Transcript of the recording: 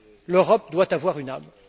L'Europe doit avoir une âme.